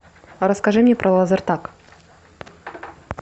расскажи мне про лазертаг